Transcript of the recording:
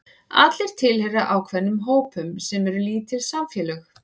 Allir tilheyra ákveðnum hópum sem eru lítil samfélög.